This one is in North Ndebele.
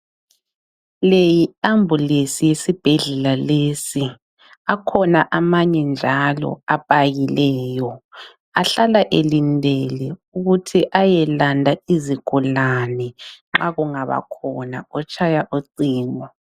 Le yi ambulensi yesibhedlela lesi akhona amanye njalo apakileyo ahlala elindele ukuthi ayelanda izigulane nxa kungaba khona otshaya ucingo.